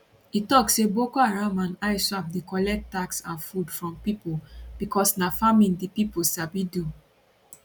e tok say boko haram and iswap dey collect tax and food from pipo becos na farming di pipo sabi do